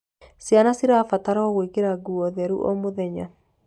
Ciana cirabatarwo gwikira nguo theru o mũthenya